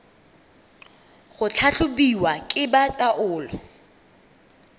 go tlhatlhobiwa ke ba taolo